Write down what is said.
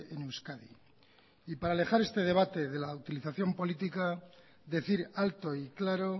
en euskadi y para alejar este debate de la utilización política decir alto y claro